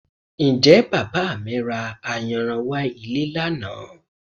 Ǹjẹ́ Bàbá mi ra ayanran wá ilé lánàá?